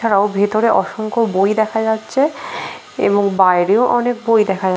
এছাড়া ভেতরে অসংখ্য বই দেখা যাচ্ছে এবং বাইরেও অনেক বই দেখা--